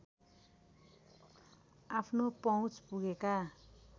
आफ्नो पहुँच पुगेका